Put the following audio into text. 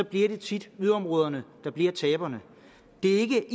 bliver det tit yderområderne der bliver taberne det er ikke